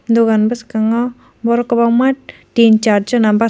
dogan boskango borok kobangma tin char jona basak.